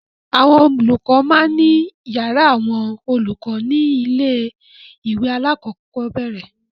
Àwọn olùkọ́ máa ń ní ìyàrá àwọn olùkọ́ ní ilé-ìwé alákọ̀ọ́bẹ̀rẹ̀.